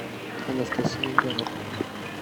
анастасия горохова